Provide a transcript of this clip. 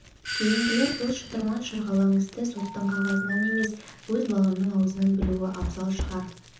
кейінгілер бұл шытырман-шырғалаң істі соттың қағазынан емес өз баламның аузынан білуі абзал шығар